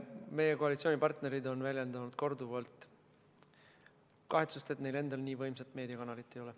Meie koalitsioonipartnerid on korduvalt väljendanud kahetsust, et neil endal nii võimsat meediakanalit ei ole.